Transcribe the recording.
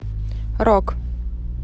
рок